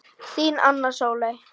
Þín, Anna Sóley.